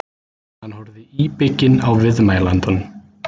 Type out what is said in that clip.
Hann horfði íbygginn á viðmælandann.